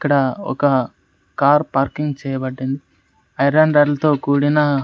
ఇక్కడ ఒక car parking చేయబడింద్ ఐరన్ రాడ్లతో కూడిన--